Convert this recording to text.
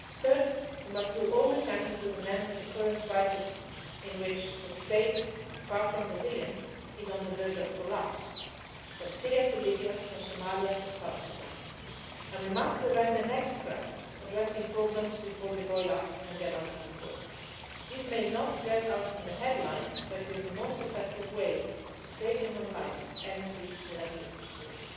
happen. Third, we must do all we can to put an end to the current crisis in which the state, far from resilient, is on the verge of collapse from Syria to Libya, from Somalia to South Sudan and we must prevent the next crisis from addressing problems before they boil up and get out of control. These may not get us in the headlines, but it is the most effective way to save human lives and increased collective security.